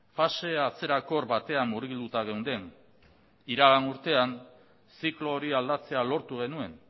fase atzerakor batean murgilduta geunden iragan urtean ziklo hori aldatzea lortu genuen